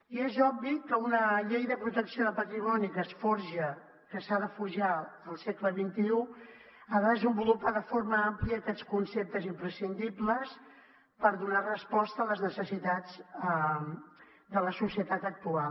i és obvi que una llei de protecció de patrimoni que es forja que s’ha de forjar al segle xxi ha de desenvolupar de forma àmplia aquests conceptes imprescindibles per donar resposta a les necessitats de la societat actual